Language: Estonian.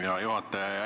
Hea juhataja!